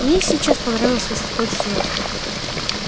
мне и сейчас понравилось если хочешь знать